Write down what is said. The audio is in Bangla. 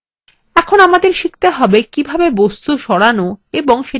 এখন আমাদের শিখতে হবে কিভাবে বস্তু সরানো এবং সেটিকে মুছে ফেলা যায়